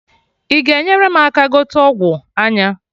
I ga enyere m aka gote ọgwụ anya?